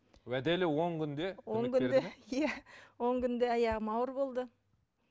уәделі он күнде иә он күнде аяғым ауыр болды